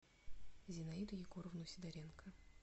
зинаиду егоровну сидоренко